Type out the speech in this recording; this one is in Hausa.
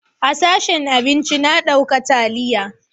A sashen abinci na dauka taliya